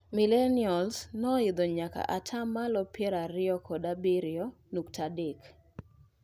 Millenials ne oidho nyaka ataa malo piero ariyo kod abirio nukta adek.